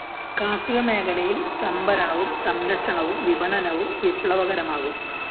കാര്‍ഷിക മേഖലയില്‍ സംഭരണവും സംരക്ഷണവും വിപണനവും വിപ്ലവകരമാകും